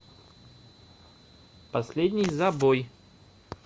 последний забой